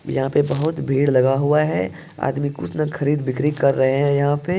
यहाँ पे बहुत भीड़ लगा हुआ है| आदमी कुछ खरीद-बिक्री कर रहे हैं यहाँ पे|